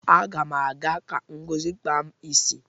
Aga ma aga ka Ngozi kpaa m isi.